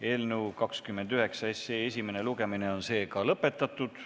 Eelnõu 29 esimene lugemine on lõppenud.